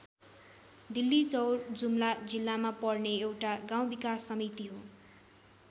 डिल्लीचौर जुम्ला जिल्लामा पर्ने एउटा गाउँ विकास समिति हो।